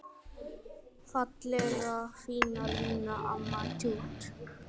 Fallega fína Lína, amma tjútt.